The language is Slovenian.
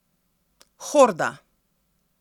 Horda!